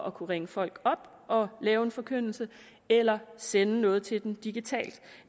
at kunne ringe folk op og lave en forkyndelse eller sende noget til dem digitalt